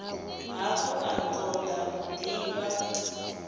hafhu a toda u divha